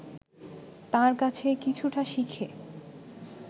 তাঁর কাছে কিছুটা শিখে